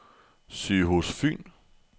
Sygehus Fyn